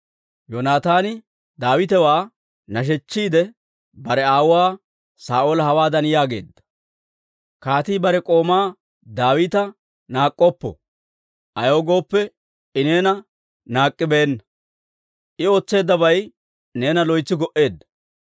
Yoonataani Daawitewaa nashshiide, bare aawuwaa Saa'oola hawaadan yaageedda; «Kaatii bare k'oomaa Daawita naak'k'oppo; ayaw gooppe, I neena naak'k'ibeenna; I ootseeddabay neena loytsi go"eedda.